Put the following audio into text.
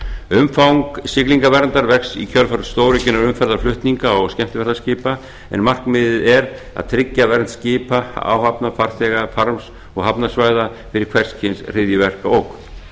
umfang siglingaverndar vex í kjölfar stóraukinna umferðarflutninga og skemmtiferðaskipa en markmiðið er að tryggja vernd skipa áhafna farþega farms og hafnarsvæða fyrir hvers kyns hryðjuverkaógn